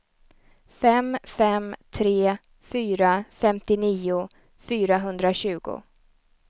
fem fem tre fyra femtionio fyrahundratjugo